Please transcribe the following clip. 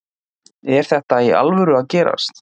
Er þetta í alvöru að gerast?